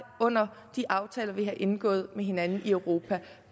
under de aftaler vi har indgået med hinanden i europa